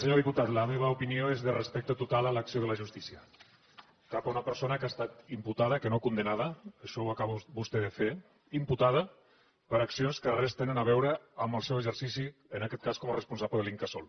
senyor diputat la meva opinió és de respecte total a l’acció de la justícia cap a una persona que ha estat imputada que no condemnada això ho acaba vostè de fer imputada per accions que res tenen a veure amb el seu exercici en aquest cas com a responsable de l’incasol